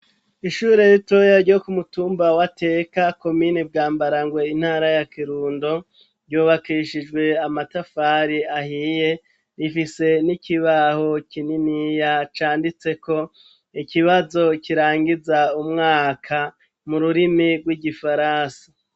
Ishure ritoya ryo ku mutumba wa teka komini bwambarangwe intara ya kirundo ryubakishijwe amatafari ahiye rifise n'ikibaho kininiya canditseko ikibazo kirangiza umwaka mu rurimi rw'igifaransi.